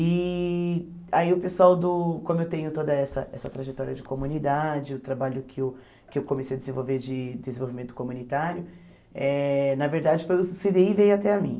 E aí o pessoal do, como eu tenho toda essa essa trajetória de comunidade, o trabalho que eu que eu comecei a desenvolver de desenvolvimento comunitário, eh na verdade foi o cê dê i veio até a mim.